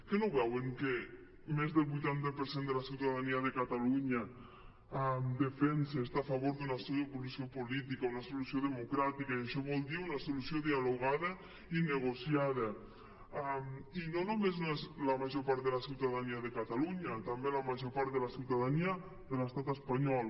que no ho veuen que més del vuitanta per cent de la ciutadania de catalunya defensa està a favor d’una solució política una solució democràtica i això vol dir una solució dialogada i negociada i no només la major part de la ciutadania de catalunya també la major part de la ciutadania de l’estat espanyol